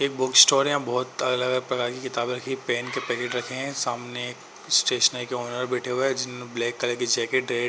एक book store है। यहाँ बहोत अलग-अलग प्रकार की किताबें रखीं हैं। पेन के पैकेट रखे हैं सामने स्टेशनरी के ओनर बैठे हुए हैं। जिन्होंने ब्लैक कलर के जैकेट ।